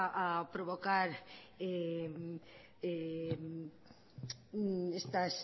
a provocar estas